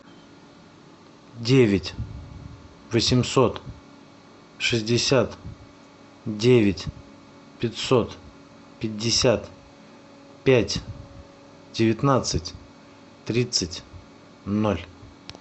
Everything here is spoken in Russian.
девять восемьсот шестьдесят девять пятьсот пятьдесят пять девятнадцать тридцать ноль